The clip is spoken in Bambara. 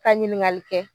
Ka ɲiniŋali kɛ